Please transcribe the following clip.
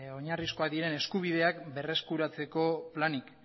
oinarrizkoak diren eskubideak berreskuratzeko planik